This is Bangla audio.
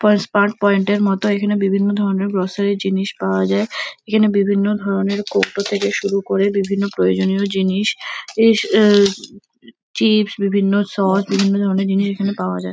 ফার্স্ট পার্ট পয়েন্ট এর মতো এখানে বিভিন্ন ধরনের গ্রসারি -র জিনিস পাওয়া যায়। এখানে বিভিন্ন ধরনের কৌটো থেকে শুরু করে বিভিন্ন প্রয়োজনীয় জিনিস ইস আ চিপস বিভিন্ন সস বিভিন্ন ধরনের জিনিস এখানে পাওয়া যায়।